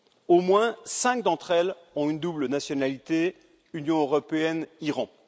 Au moins cinq d'entre elles ont une double nationalité, Union européenne Iran.